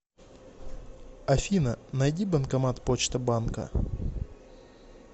афина найди банкомат почта банка